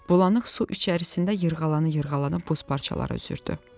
Bulanıq su içərisində yırğalanı-yırğalana buz parçaları üzürdü.